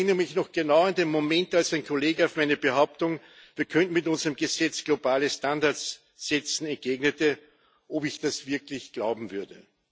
Ich erinnere mich noch genau an den Moment, als ein Kollege auf meine Behauptung, wir könnten mit unserem Gesetz globale Standards setzen, entgegnete, ob ich das wirklich glauben würde.